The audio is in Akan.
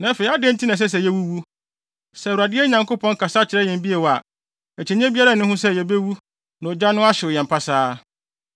Na afei, adɛn nti na ɛsɛ sɛ yewuwu? Sɛ Awurade, yɛn Nyankopɔn, kasa kyerɛ yɛn bio a, akyinnye biara nni ho sɛ yebewu na ogya no ahyew yɛn pasaa.